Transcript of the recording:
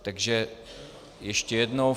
Takže ještě jednou.